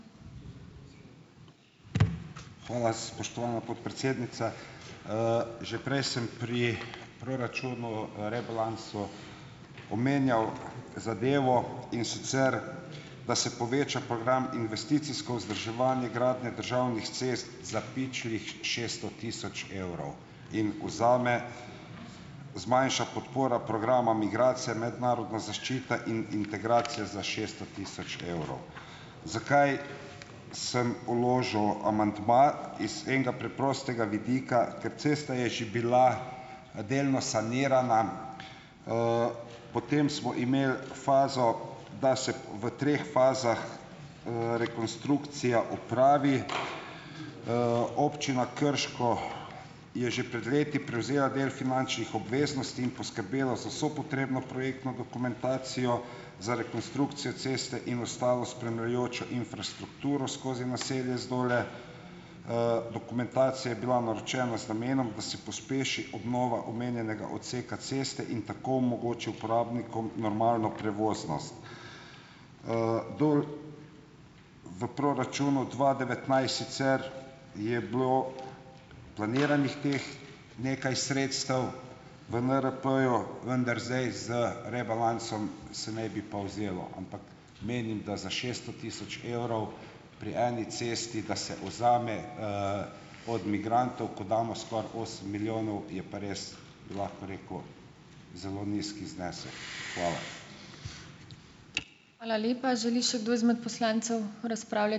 Hvala, spoštovana podpredsednica. že prej sem pri proračunu, rebalansu omenjal zadevo, in sicer da se poveča program investicijsko vzdrževanje gradnje državnih cest za pičlih šeststo tisoč evrov in vzame, zmanjša podpora programa migracije, mednarodna zaščita in integracija za šesto tisoč evrov . Zakaj sem vložil amandma? Iz enega preprostega vidika, ker cesta je že bila, delno sanirana, potem smo imeli fazo, da se v treh fazah, rekonstrukcija opravi, občina Krško je že pred leti prevzela del finančnih obveznosti in poskrbela za vso potrebno projektno dokumentacijo za rekonstrukcijo ceste in ostalo spremljajočo infrastrukturo skozi naselje Zdole. dokumentacija je bila naročena z namenom, da se pospeši obnova omenjenega odseka ceste in tako omogoči uporabnikom normalno prevoznost. v proračunu dva devetnajst sicer je bilo planiranih teh nekaj sredstev v NRP-ju, vendar zdaj z rebalansom se naj bi pa vzelo, ampak menim, da za šesto tisoč evrov pri eni cesti, da se vzame, od migrantov, ko damo skoraj osem milijonov, je pa res, bi lahko rekel, zelo nizek znesek. Hvala . Hvala lepa. Želi še kdo izmed poslancev ...